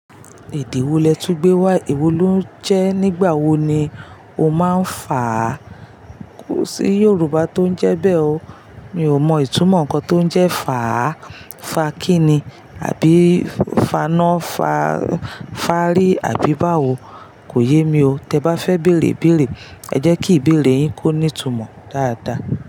Èdè wo lẹ tún gbé wá yi? Èwo lo ń jẹ́ nígbà wo ni o máa ń fàá? Kò sí Yorùbá tó ń jẹ́ bẹ́ẹ̀ o. Mi ò mọ ìtumọ̀ nǹkan tó ń jẹ́ fàá. Fa kí ni? Àbí faná, fa-fáàrí àbí báwo, kò yé mi o. Tẹ bá fẹ́ bèrè ibèrè, ẹ jẹ́ kí ìbẹ̀rẹ̀ yín kó ní ìtumọ̀ dáadáa.